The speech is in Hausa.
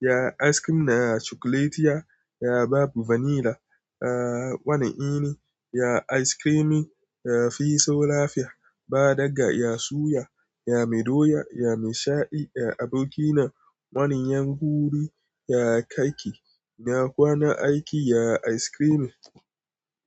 Ya ice cream na cokuletiya, ya babu vanilla. Aa wane ini, ya ice creamin ya fi so lafiya ba daggaya suya, ya mi doya, ya mi shadi, ya aboki na wani 'yan huri, ya kaki, na kwana aiki, ya ice cream.